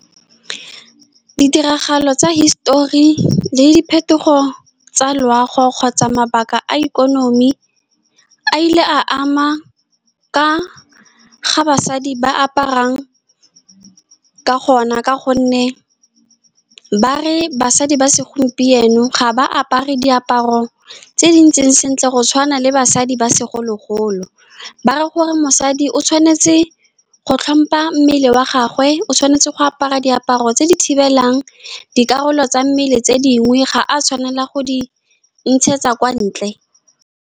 Ditiragalo tsa hisitori le diphetogo tsa loago, kgotsa mabaka a ikonomi, a ile a ama ka fa basadi ba aparang ka gona, ka gonne ba re basadi ba segompieno ga ba apare diaparo tse dintseng sentle go tshwana le basadi ba segolo-golo. Ba re gore mosadi o tshwanetse go tlhompha mmele wa gagwe, o tshwanetse go apara diaparo tse di thibelang dikarolo tsa mmele tse dingwe, ga a tshwanela go di ntshetsa kwa ntle.